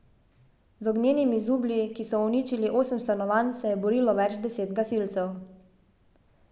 Z ognjenimi zublji, ki so uničili osem stanovanj, se je borilo več deset gasilcev.